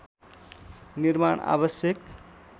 निर्माण आवश्यक